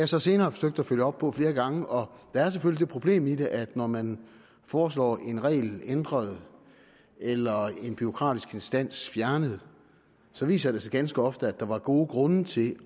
så senere forsøgt at følge op på flere gange og der er selvfølgelig det problem i det at når man foreslår en regel ændret eller en bureaukratisk instans fjernet så viser det sig ganske ofte at der var gode grunde til